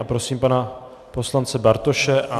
A prosím pana poslance Bartoše.